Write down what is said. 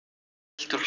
Fylgt úr hlaði